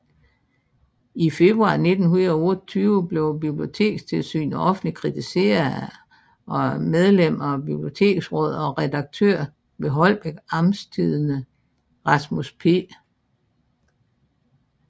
I februar 1928 blev Bibliotekstilsynet offentligt kritiseret af medlem af Biblioteksrådet og redaktør ved Holbæk Amtstidende Rasmus P